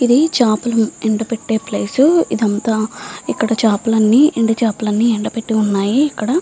ఇది చాపలు ఎండబెట్టే ప్లేస్ ఇది అంతా ఇక్కడ చాపలు అన్నీ ఎండి చాపలు అన్నీ ఎండా బెట్టి ఉన్నాయి ఇక్కడ --